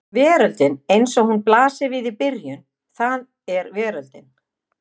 Veröldin eins og hún blasir við í byrjun það er veröldin.